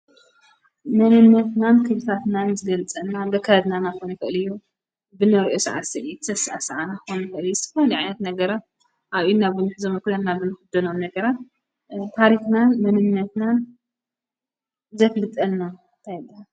መንነትናን ክብታትናን ዝገልፀልና በካድናናኾን ፈዕልዩ ብነርኡ ሰዓሠኢ ተሥ ሰዓን ኾንፈሪ ስፋኒዕት ነገረ ኣብኢናብንሕ ዘምጕናበን ኽደኖም ነገረ ታሪኽናን መንነትናን ዘትሊጠልና ተየለ